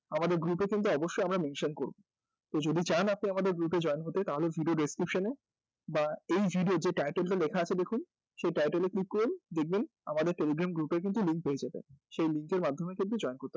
আমাদের group এ কিন্তু অবশ্যই আমরা mention করব যদি চান আপনি আমাদের group এ join হতে তাহলে এই video description এ বা এই এ যে title টা লেখা আছে দেখুন এই title এ click করে কিন্তু দেখবেন আমাদের telegram group এর কিন্তু link পেয়ে যাবেন যেই link এর মাধ্যমে কিন্তু join করতে পারেন